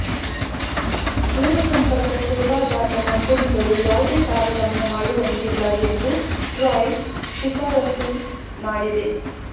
ದೂರಸಂಪರ್ಕ ಸೇವಾದಾತ ಕಂಪೆನಿಗಳು ಯಾವುದೇ ತಾರತಮ್ಯ ಮಾಡುವಂತಿಲ್ಲ ಎಂದು ಟ್ರಾಯ್ ಶಿಫಾರಸು ಮಾಡಿದೆ